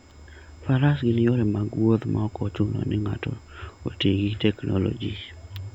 Faras gin yore mag wuoth maok ochuno ni ng'ato oti gi teknoloji.